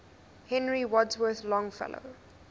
henry wadsworth longfellow